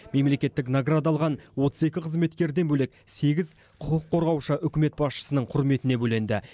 мемлекеттік награда алған отыз екі қызметкерден бөлек сегіз құқық қорғаушы үкімет басшысының құрметіне бөленді